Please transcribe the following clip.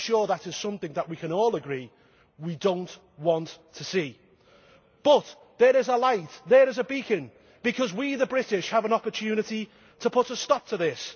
I am sure that is something that we can all agree we do not want to see. But there is a light, there is a beacon because we, the British, have an opportunity to put a stop to this.